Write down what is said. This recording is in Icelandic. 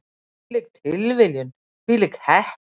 Hvílík tilviljun, hvílík heppni!